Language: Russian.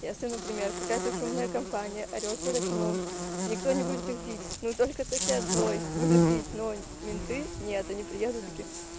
если например какая-то шумная компания орёт под окном никто не будет их бить но только сосед злой буду бить но менты нет они приедут такие